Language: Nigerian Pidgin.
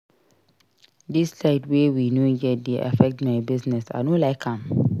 Dis light wey we no get dey affect my business I no like am.